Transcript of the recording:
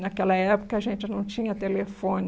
Naquela época, a gente não tinha telefone.